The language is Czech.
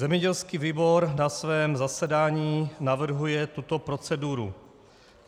Zemědělský výbor na svém zasedání navrhuje tuto proceduru.